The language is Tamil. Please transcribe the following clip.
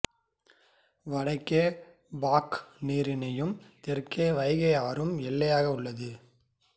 வடக்கே பாக் நீரிணையும் தெற்கே வைகை ஆறும் எல்லையாக உள்ளது